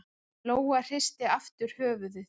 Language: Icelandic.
Lóa hristi aftur höfuðið.